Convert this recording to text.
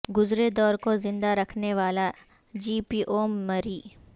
گزرے دور کو زندہ رکھنے والا جی پی او مری